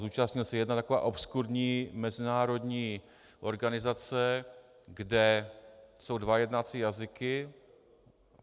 Zúčastnil se jedné takové obskurní mezinárodní organizace, kde jsou dva jednací jazyky.